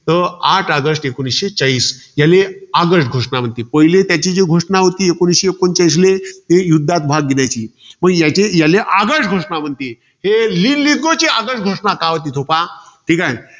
तर आठ ऑगस्ट एकोणीसशे चाळीस. याले आगळ घोषणा म्हणती. पहिले त्याची जी घोषणा होती, एकोणीसशे एकोणचाळीसले ती युद्धात भाग घेण्याची. मग याचे~ याले, आगळ घोषणा म्हणती. हे लीलीगोची ऑगस्ट घोषणा का होती पहा. ठीकाय.